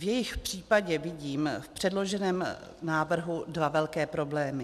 V jejich případě vidím v předloženém návrhu dva velké problémy.